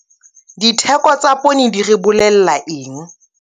Ditheko tsa poone di re bolella eng?